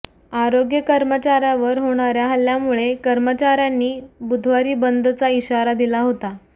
आरोग्य कर्मचाऱ्यांवर होणाऱ्या हल्ल्यामुळे कर्मचाऱ्यांनी बुधवारी बंदचा इशारा दिला होता